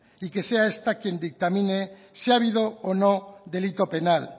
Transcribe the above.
y que sea esta quien dictamine si ha habido o no delito penal